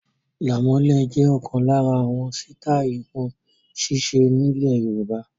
Làmọ́lẹ̀ jẹ ọkan lára àwọn sítai irun sise nilẹ Yorùbá